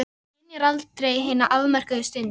Maður skynjar aldrei hina afmörkuðu stund.